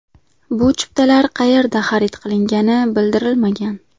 Bu chiptalar qayerda xarid qilingani bildirilmagan.